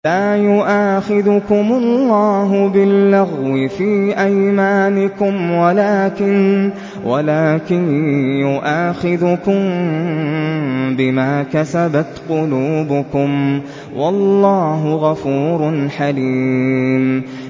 لَّا يُؤَاخِذُكُمُ اللَّهُ بِاللَّغْوِ فِي أَيْمَانِكُمْ وَلَٰكِن يُؤَاخِذُكُم بِمَا كَسَبَتْ قُلُوبُكُمْ ۗ وَاللَّهُ غَفُورٌ حَلِيمٌ